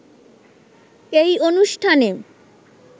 এই অনুষ্ঠানে